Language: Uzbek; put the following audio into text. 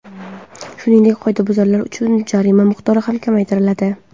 Shuningdek, qoidabuzarlar uchun jarima miqdori ham kamaytiriladi.